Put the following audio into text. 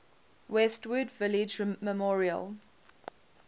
westwood village memorial